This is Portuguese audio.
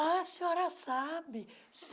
Ah, a senhora sabe!